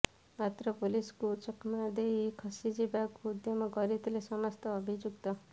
ମାତ୍ର ପୋଲିସକୁ ଚକମା ଦେଇ ଖସି ଯିବାକୁ ଉଦ୍ୟମ କରିଥିଲେ ସମସ୍ତ ଅଭିଯୁକ୍ତ